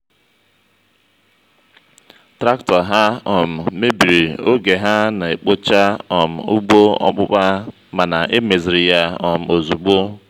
traktọ ha um mebiri oge ha na-ekpocha um ugbo ọpụpá mana e meziri ya um ozugbo